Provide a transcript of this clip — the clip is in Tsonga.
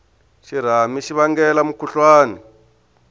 xirhami xi vangela mukhuhlwani